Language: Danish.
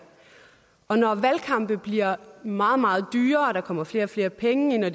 og når valgkampe bliver meget meget dyre og der kommer flere og flere penge ind og